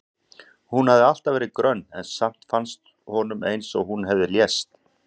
Hún hafði alltaf verið grönn en samt fannst honum eins og hún hefði lést.